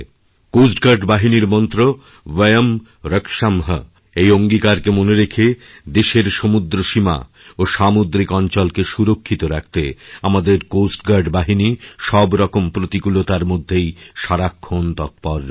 coast guard বাহিনীর মন্ত্র অয়ম্রক্শাম্ এই অঙ্গীকারকে মনে রেখে দেশের সমুদ্র সীমা ও সামুদ্রিক অঞ্চলকেসুরক্ষিত রাখতে আমাদের কোস্ট গার্ড বাহিনী সবরকম প্রতিকূলতার মধ্যেই সারাক্ষণ তৎপররয়েছে